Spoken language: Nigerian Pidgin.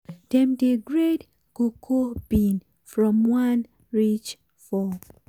dem dey grade cocoa bean from one reach four.